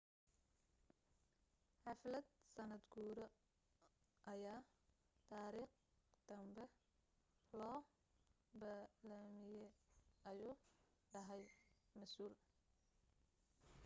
xaflad sanad guuro ayaa taarikh danbe loo balamiye ayuu dhahay masuul